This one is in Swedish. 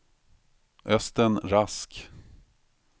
Östen Rask